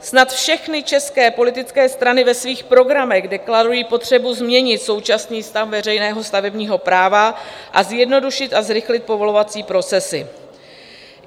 Snad všechny české politické strany ve svých programech deklarují potřebu změnit současný stav veřejného stavebního práva a zjednodušit a zrychlit povolovací procesy.